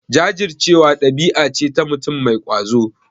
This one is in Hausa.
Jajircewa ɗabi'a ce ta mutum mai ƙwazo.